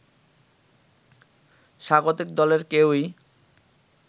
স্বাগতিক দলের কেউই